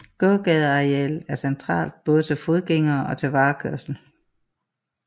Gågadearealet er centralt både til fodgængere og til varekørsel